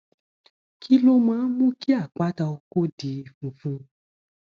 kí ló máa ń mú kí àpáta oko di funfun